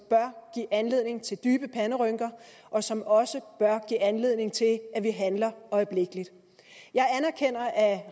anledning til dybe panderynker og som også bør give anledning til at vi handler øjeblikkelig jeg anerkender at